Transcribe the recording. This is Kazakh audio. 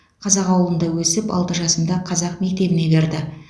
қазақ ауылында өсіп алты жасымда қазақ мектебіне берді